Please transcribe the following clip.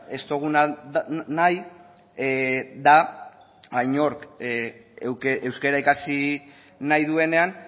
ez duguna nahi da inork euskara ikasi nahi duenean